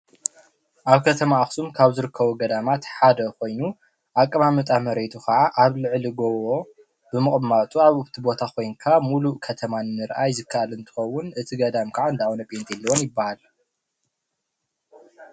ኣብ ከተም ኣክሱም ካብ ዝርከቡ ገዳማት ሓደ ኮይኑ ኣቀማምጣ መሬቱ ካዓ ኣብ ልዕሊ ጎቦ ብምቕማጡ ኣብቲ ቦታ ኮንካ ምሉእ ከተማ ምርኣይ ዝከኣል እንትኸዉን እቲ ገዳም ካዓ እንዳ ኣቡነ ጲንጤሎን ይበሃል።